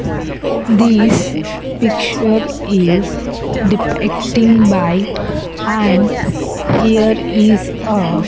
This picture is depicting by and here is a --